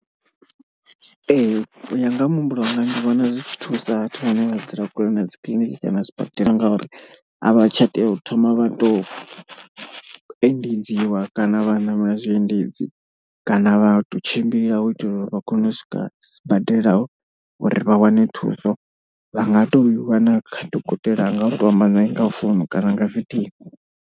Ee u ya nga ha muhumbulo wanga ndi vhona zwi tshi thusa vhathu vhane vha dzula kule na dzi kiḽiniki kana zwibadela. Ngauri a vha tsha tea u thoma vha to endedziwa kana vha ṋamela zwiendedzi kana vha tou tshimbila u itela uri vha kone u swika sibadela uri vha wane thuso. Vha nga to i wana kha dokotela a nga uto amba naye nga founu kana nga video.